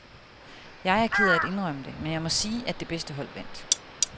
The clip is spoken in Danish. Jeg er ked af at indrømme det, men jeg må sige, at det bedste hold vandt.